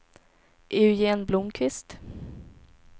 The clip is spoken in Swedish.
Eugen Blomqvist